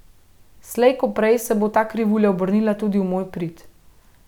Slej ko prej se bo ta krivulja obrnila tudi v moj prid.